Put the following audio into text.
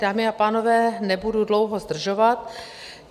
Dámy a pánové, nebudu dlouho zdržovat.